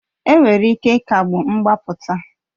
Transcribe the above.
Enwere ike ịkagbu mgbapụta